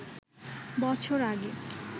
বছর আগে